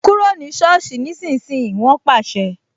Kúrò ní soosi ni ìsinsìnyí "wọn pàṣẹ